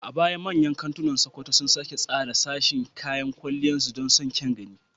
A baya, manyan kantunan Sokoto sun sake tsara sashin kayan kwalliyar su don samun kyan gani.